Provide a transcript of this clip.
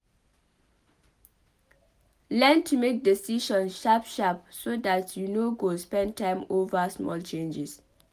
Learn to make decisions sharp sharp so dat you no go spend time over small changes